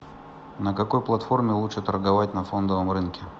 на какой платформе лучше торговать на фондовом рынке